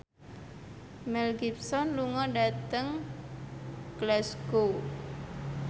Mel Gibson lunga dhateng Glasgow